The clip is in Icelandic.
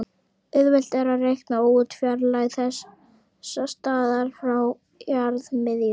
Auðvelt er að reikna út fjarlægð þessa staðar frá jarðarmiðju.